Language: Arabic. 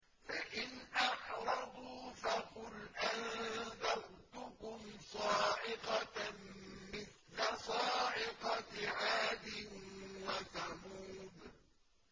فَإِنْ أَعْرَضُوا فَقُلْ أَنذَرْتُكُمْ صَاعِقَةً مِّثْلَ صَاعِقَةِ عَادٍ وَثَمُودَ